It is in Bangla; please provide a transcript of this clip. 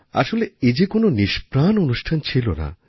আসলে এ যে কোন নিষ্প্রাণ অনুষ্ঠান ছিল না